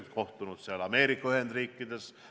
Tal on olnud kohtumisi Ameerika Ühendriikides.